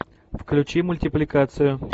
включи мультипликацию